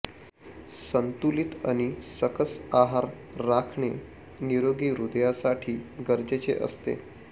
संतुलित आणि सकस आहार राखणे निरोगी हृदयासाठी गरजेचे असते